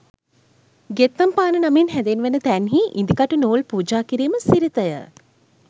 ගෙත්තම්පාන නමින් හැඳින්වෙන තැන්හි ඉදිකටු, නූල් පූජා කිරීම සිරිත ය.